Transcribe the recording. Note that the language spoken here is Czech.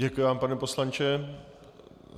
Děkuji vám, pane poslanče.